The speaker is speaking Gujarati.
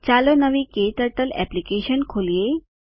ચાલો નવી ક્ટર્ટલ એપ્લિકેશન ખોલીએ